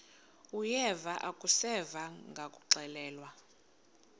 uyeva akuseva ngakuxelelwa